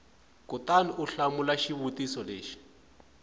kutani u hlamula xivutiso lexi